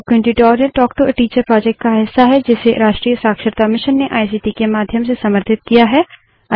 spoken tutorial talk to a teacher project का हिस्सा है जिसे राष्ट्रीय शिक्षा मिशन ने आईसीटी के माध्यम से समर्थित किया है